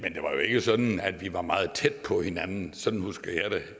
jo ikke sådan at vi var meget tæt på hinanden sådan husker jeg